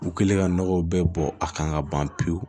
U kɛlen ka nɔgɔw bɛɛ bɔ a kan ka ban pewu